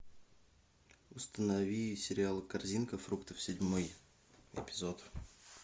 установи сериал корзинка фруктов седьмой эпизод